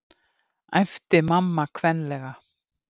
æpti mamma kvenlega.